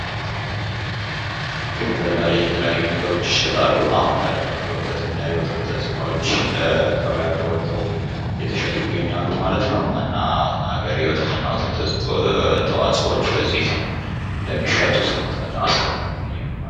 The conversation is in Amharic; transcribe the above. እንግዲህ ገቢያ ላይ የተለያዩ ነገሮች ይሸጣሉ አሁን ላይ ደግሞ የወተት እና የወተት ተዋጽኦወች ገቢያ ላይ ወጠው እየተሸጡ ይገኛሉ። ማለት ነው። የወተት እና የወተት ተዋጽኦወች በዚህ ልክ እንደሚሸጡ እንመለከታለን ማለት ነው።